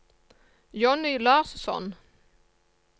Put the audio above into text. Jonny Larsson